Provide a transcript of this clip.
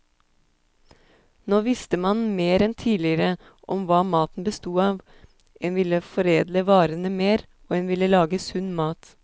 Nå visste man mer enn tidligere om hva maten bestod av, en ville foredle varene mer, og en ville lage sunn mat.